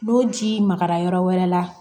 N'o jii magara yɔrɔ wɛrɛ la